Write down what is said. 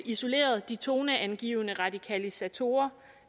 isoleret de toneangivende radikalisatorer